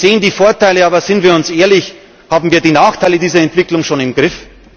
Wir sehen die Vorteile, aber seien wir ehrlich Haben wir die Nachteile dieser Entwicklung schon im Griff?